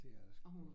Det er det sgu